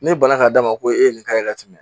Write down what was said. Ne balila ka d'a ma ko e ye nin kari ye ka tɛmɛ